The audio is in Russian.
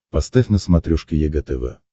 поставь на смотрешке егэ тв